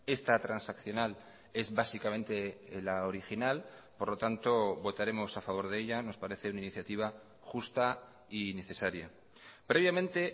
esta transaccional es básicamente la original por lo tanto votaremos a favor de ella nos parece una iniciativa justa y necesaria previamente